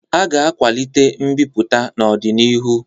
A ga-akwalite mbipụta n'ọdịnihu